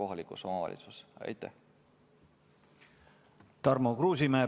Tarmo Kruusimäe, palun!